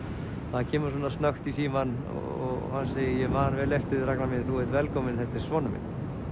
það kemur snökt í símann og hann segir ég man vel eftir þér Ragnar minn velkominn þetta er sonur minn